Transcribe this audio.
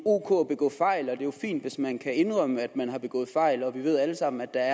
ok at begå fejl og det jo fint hvis man kan indrømme at man har begået fejl vi ved jo alle sammen at der